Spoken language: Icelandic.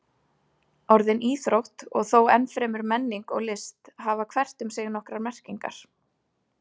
Orðin íþrótt og þó enn fremur menning og list hafa hvert um sig nokkrar merkingar.